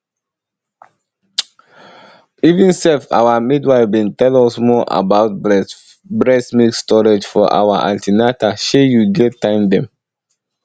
even sef our midwife bin tell us more about breast milk storage for our an ten atal shey you get time dem